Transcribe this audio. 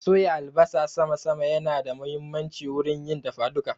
Soya albasa sama sama ya na da muhimmanci wurin yin dafa duka